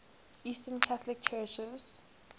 eastern catholic churches